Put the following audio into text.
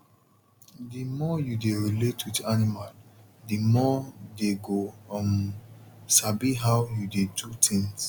di more u dey relate with animal the more dey go um sabi how u dey do things